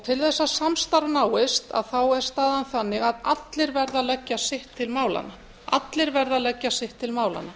til þess að samstarf náist er staðan þannig að allir verða að leggja sitt til málanna